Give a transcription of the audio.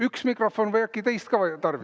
Üks mikrofon või on äkki teist ka tarvis?